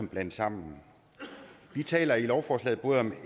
blandes sammen vi taler i lovforslaget både om